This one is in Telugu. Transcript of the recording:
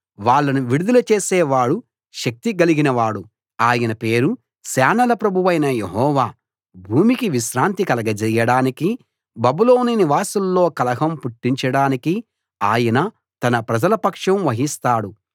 వాళ్ళను విడుదల చేసే వాడు శక్తి గలిగిన వాడు ఆయన పేరు సేనల ప్రభువైన యెహోవా భూమికి విశ్రాంతి కలగజేయడానికీ బబులోను నివాసుల్లో కలహం పుట్టించడానికీ ఆయన తన ప్రజల పక్షం వహిస్తాడు